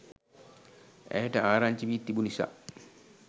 ඇයට ආරංචි වී තිබු නිසා